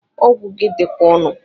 Ọgwụ gị dikwa onu